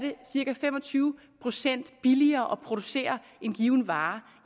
cirka fem og tyve procent billigere at producere en given vare